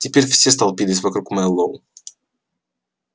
теперь все столпились вокруг мэллоу